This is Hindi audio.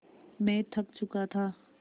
मैं थक चुका था